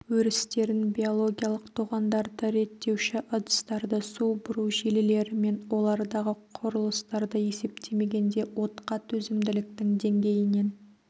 өрістерін биологиялық тоғандарды реттеуші ыдыстарды су бұру желілері мен олардағы құрылыстарды есептемегенде отқа төзімділіктің деңгейінен